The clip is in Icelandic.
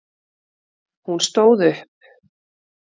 Hún stóð upp.